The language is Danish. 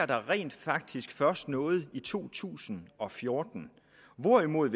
der rent faktisk først sker noget i to tusind og fjorten hvorimod